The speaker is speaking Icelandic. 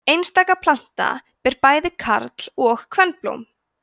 einstaka planta ber bæði karl og kvenblóm